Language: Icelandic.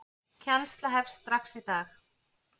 Kennsla hefst strax í dag.